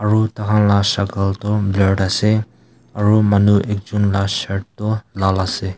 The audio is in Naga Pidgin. aru tai khan lah sakal tu blur ase aru manu ekjon lah shirt tu lal ase.